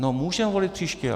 No, můžeme volit příště.